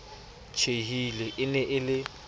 tjhehile e ne e le